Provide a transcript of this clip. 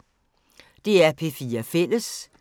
DR P4 Fælles